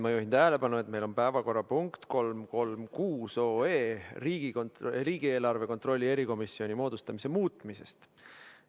Ma juhin tähelepanu, et meil on päevakorrapunkt 336 OE riigieelarve kontrolli erikomisjoni moodustamise muutmise kohta.